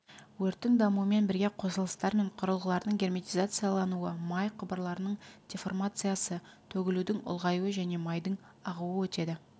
өрттің дамуымен бірге қосылыстар мен құрылғылардың герметизациялануы май құбырларының деформациясы төгілудің ұлғаюы және майдың ағуы өтеді